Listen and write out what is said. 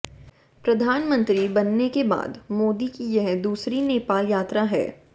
प्रधानमंत्री बनने के बाद मोदी की यह दूसरी नेपाल यात्रा है